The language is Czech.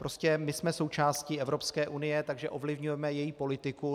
Prostě my jsme součástí Evropské unie, takže ovlivňujeme její politiku.